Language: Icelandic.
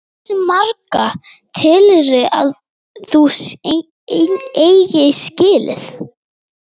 Hversu marga telurðu að þú eigir skilið?